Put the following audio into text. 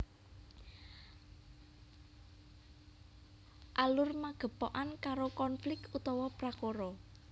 Alur magepokan karo konflik utawa prakara